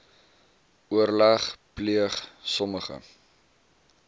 oorleg pleeg sommige